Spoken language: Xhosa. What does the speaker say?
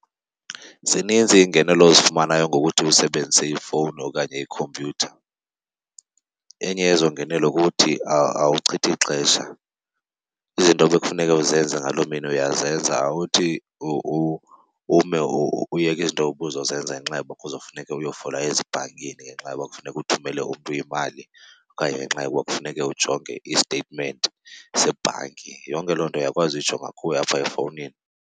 Zininzi iingenelo ozifumanayo ngokuthi usebenzise ifowuni okanye ikhompyutha. Enye yezo ngenelo kukuthi awuchithi xesha. Izinto ebekufuneke uzenze ngaloo mini uyazenza awuthi ume uyeke izinto ubuzozenza ngenxa yoba kuza kufuneke uyofola ezibhankini ngenxa yoba kufuneka uthumele umntu imali okanye ngenxa yokuba kufuneke ujonge i-statement sebhanki. Yonke loo nto uyakwazi uyijonga kuwe apha efowunini.